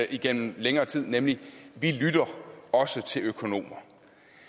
igennem længere tid nemlig vi lytter også til økonomer